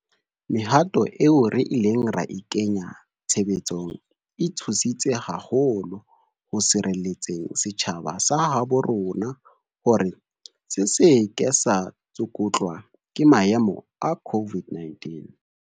Mehato eo re ileng ra e kenya tshebetsong e thusi tse haholo ho sireletseng setjhaba sa habo rona hore se se ke sa tsukutlwa ke maemo a COVID-19.